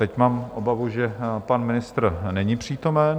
Teď mám obavu, že pan ministr není přítomen.